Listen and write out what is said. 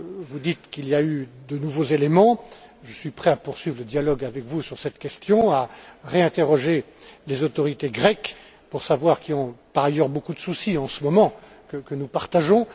Vous dites qu'il y a eu de nouveaux éléments. Je suis prêt à poursuivre le dialogue avec vous sur cette question et à réinterroger les autorités grecques qui, par ailleurs, ont beaucoup de soucis en ce moment, soucis que nous partageons.